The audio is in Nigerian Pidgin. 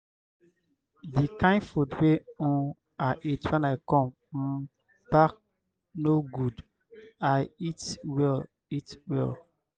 the kin food wey um i eat wen i come um back no good. i eat well eat well